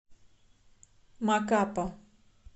макапа